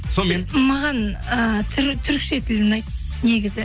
сонымен маған і түрікше тіл ұнайды негізі